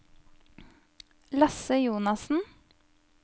Lasse Jonassen